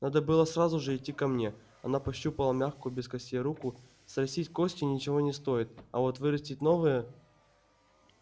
надо было сразу же идти ко мне она пощупала мягкую без костей руку срастить кости ничего не стоит а вот вырастить новые